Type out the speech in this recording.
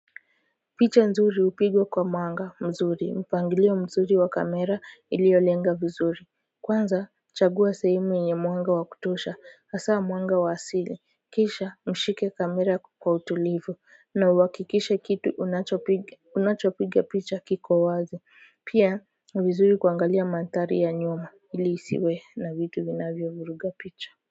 Picha nzuri hupigwa kwa mwanga mzuri mpangilio mzuri wa kamera iliyolenga vizuri kwanza chagua sehemu yenye mwanga wa kutosha hasa mwanga wa asili kisha mshike kamera kwa utulivu na uhakikishe kitu unachopiga unachopiga picha kiko wazi pia ni vizuri kuangalia mandhari ya nyuma ili isiwe na vitu vinavyovuruga picha.